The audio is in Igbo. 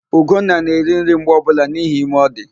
Ugonna na-eri nri mgbe ọbụla n'ihi ime ọ dị.